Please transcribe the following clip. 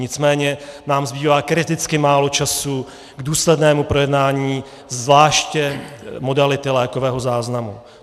Nicméně nám zbývá kriticky málo času k důslednému projednání zvláště modality lékového záznamu.